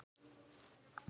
Þó megi enn gera betur.